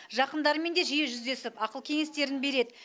жақындарымен де жиі жүздесіп ақыл кеңестерін береді